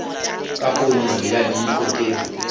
ka ponyo ya leihlo ke